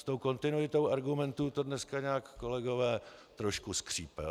S tou kontinuitou argumentů to dneska nějak, kolegové, trošku skřípe.